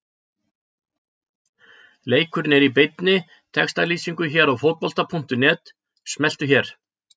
LEIKURINN ER Í BEINNI TEXTALÝSINGU HÉR Á FÓTBOLTA.NET- Smelltu hér